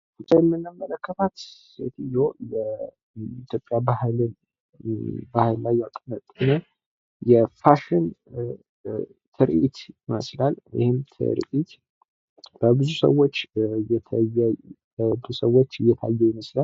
በምስሉ የምንመለከታት ሴትዮ በኢትዮጵያ ባህልን የፋሽን ትርኢት ይመስላል። ይህም ትርኢት ለብዙ ሰዎች እየታየ ይመስላል።